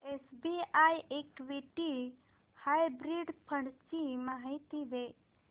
SBI equity hybrid fund ची माहिती दे